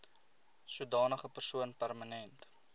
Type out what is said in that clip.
sodanige persoon permanent